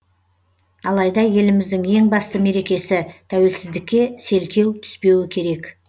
алайда еліміздің ең басты мерекесі тәуелсіздікке селкеу түспеуі керек